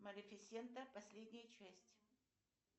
малифисента последняя часть